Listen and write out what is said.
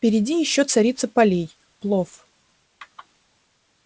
впереди ещё царица полей плов